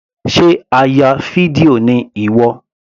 Sé a ya fídíò ni ìwọ.